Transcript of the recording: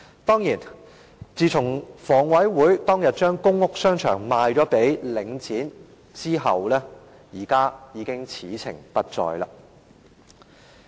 當然，自從香港房屋委員會當天將公屋商場賣予領展後，現在已經此情不再。